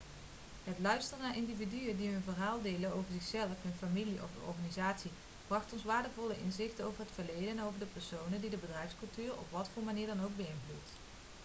het luisteren naar individuen die hun verhaal deelden over zichzelf hun familie of de organisatie bracht ons waardevolle inzichten over het verleden en over de personen die de bedrijfscultuur op wat voor manier dan ook hebben beïnvloed